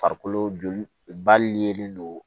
Farikolo joli ba yelen don